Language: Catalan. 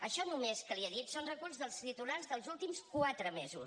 això només que li he dit són reculls dels titulars dels últims quatre mesos